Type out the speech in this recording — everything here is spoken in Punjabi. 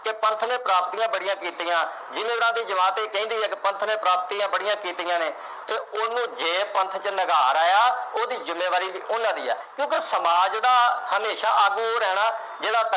ਕਿ ਪੰਥ ਨੇ ਪ੍ਰਾਪਤੀਆਂ ਬੜੀਆਂ ਕੀਤੀਆਂ। ਜੇ ਇਹਨਾ ਦੇ ਜਵਾਕ ਇਹ ਕਹਿੰਦੇ ਹਾਂ ਕਿ ਪੰਥ ਨੇ ਪ੍ਰਾਪਤੀਆਂ ਬੜੀਆਂ ਕੀਤੀਆਂ ਨੇ ਅਤੇ ਉਹਨੂੰ ਜੇ ਪੰਥ ਚ ਨਿਗਾਰ ਆਇਆ ਉਹਦੀ ਜ਼ਿੰਮੇਵਾਰੀ ਵੀ ਉਹਨਾ ਦੀ ਹੈ, ਕਿਉਂਕਿ ਸਮਾਜ ਜਿਹੜਾ ਹਮੇਸ਼ਾ ਆਗੂ ਉਹ ਰਹਿਣਾ ਜਿਹੜਾ